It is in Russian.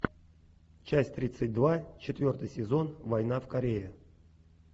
часть тридцать два четвертый сезон война в корее